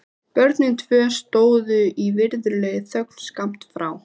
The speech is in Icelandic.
Börnin tvö stóðu í virðulegri þögn skammt frá.